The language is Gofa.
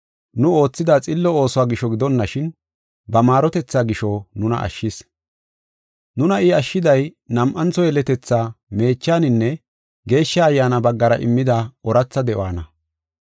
nu oothida xillo oosuwa gisho gidonashin, ba maarotethaa gisho nuna ashshis. Nuna I ashshiday, nam7antho yeletethaa meechaninne Geeshsha Ayyaana baggara immida ooratha de7uwana.